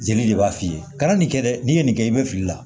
Jeli de b'a f'i ye kana nin kɛ dɛ n'i ye nin kɛ i bɛ fili la